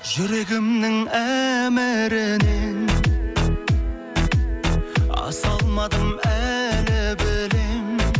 жүрегімнің әмірінен аса алмадым әлі білемін